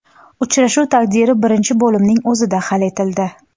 Uchrashuv taqdiri birinchi bo‘limning o‘zida hal etildi.